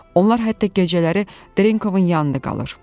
Onlar hətta gecələri Drenkovun yanında qalır.